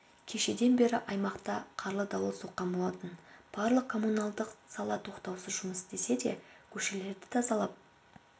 кешеден бері аймақта қарлы дауыл соққан болатын барлық коммуналдық сала тоқтаусыз жұмыс істесе де көшелерді тазалап